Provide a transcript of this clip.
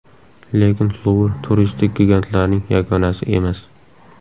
Lekin Luvr turistik gigantlarning yagonasi emas.